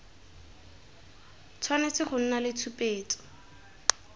tshwanetse go nna le tshupetso